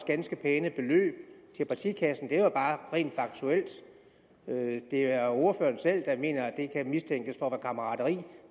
ganske pæne beløb til partikassen det er bare rent faktuelt det er ordføreren selv der mener at det kan mistænkes for at være kammerateri